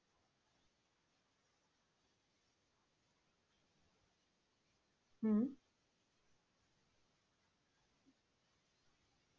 হম